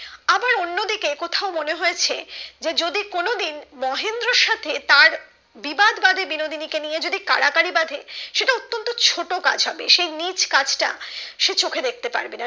আবার অন্য দিকে কোথাও মনে হয়েছে যে যদি কোনোদিন মহেন্দ্রর সাথে তার বিবাদ বাঁধে বিনোদিনী কে নিয়ে যদি কাড়াকাড়ি বাধে সে তো অতন্ত ছোট কাজ হবে সেই নিচ কাজটা সে চোখে দেখতে পারবে না